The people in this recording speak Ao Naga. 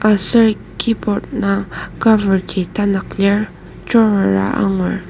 aser keyboard indang cover ji tanak lir drawer a angur.